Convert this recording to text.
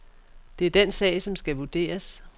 Det er den sag, som skal vurderes.